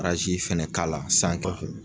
fɛnɛ k'a la